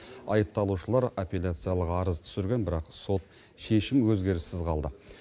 айыпталушылар апелляциялық арыз түсірген бірақ сот шешім өзгеріссіз қалды